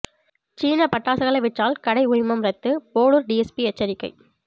சீன பட்டாசுகளை விற்றால் கடை உரிமம் ரத்து போளூர் டிஎஸ்பி எச்சரிக்கை